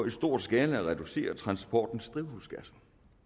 i stor skala at reducere transportens udledning af drivhusgasser